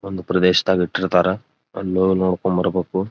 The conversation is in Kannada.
ಒಂದು ಪ್ರದೇಶದಾಗ ಇಟ್ಟಿರ್ತಾರ ಅಲ್ಲಿ ಹೊಗ್ ನೋಡ್ಕೊಂಡ್ ಬರ್ಬೇಕು.